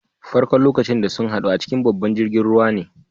Farko'n lokacin da sun haddu a cikin babban jirigin ruwa ne.